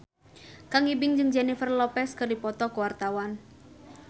Kang Ibing jeung Jennifer Lopez keur dipoto ku wartawan